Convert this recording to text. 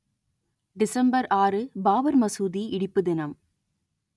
December ஆறு பாபர் மசூதி இடிப்பு தினம்